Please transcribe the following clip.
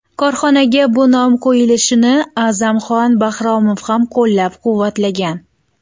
Korxonaga bu nom qo‘yilishini A’zamxon Bahromov ham qo‘llab-quvvatlagan.